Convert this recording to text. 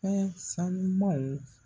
Fɛn sanumaw